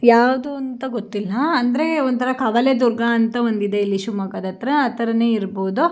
ಯಾವ್ದು ಅಂತ ಗೊತ್ತಿಲ ಅಂದ್ರೆ ಒಂತರ ಕವಲೇದುರ್ಗ ಅಂತ ಇದೆ ಶಿವಮೊಗ್ಗಾದ್ ಹತ್ರ ಆ ತರಾನೇ ಇರ್ಬಹುದು.